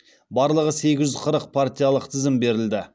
барлығы сегіз жүз қырық партиялық тізім берілді